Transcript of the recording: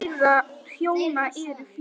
Börn þeirra hjóna eru fjögur.